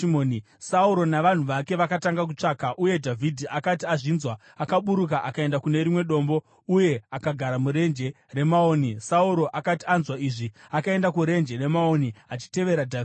Sauro navanhu vake vakatanga kutsvaka, uye Dhavhidhi akati azvinzwa akaburuka akaenda kune rimwe dombo uye akagara muRenje reMaoni. Sauro akati anzwa izvi, akaenda kuRenje reMaoni achitevera Dhavhidhi.